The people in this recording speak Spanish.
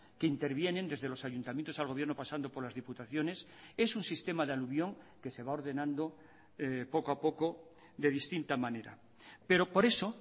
que intervienen desde los ayuntamientos al gobierno pasando por las diputaciones es un sistema de alubión que se va ordenando poco a poco de distinta manera pero por eso